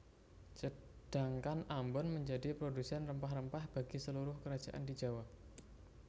Sedangkan Ambon menjadi produsen rempah rempah bagi seluruh kerajaan di Jawa